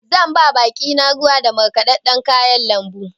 Zan ba baƙi na ruwa da markaɗaɗɗan kayan lambu.